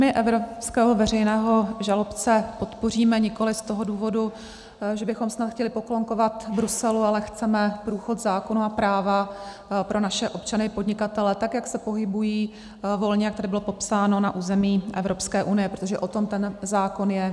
My evropského veřejného žalobce podpoříme nikoliv z toho důvodu, že bychom snad chtěli poklonkovat Bruselu, ale chceme průchod zákona a práva pro naše občany i podnikatele tak, jak se pohybují volně, jak tady bylo popsáno, na území Evropské unie, protože o tom ten zákon je.